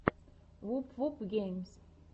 вуп вуп геймс